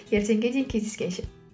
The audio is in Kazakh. ертеңге дейін кездескенше